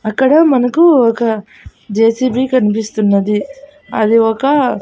అక్కడ మనకు ఒక జె_సీ_బీ కన్పిస్తున్నది అది ఒక--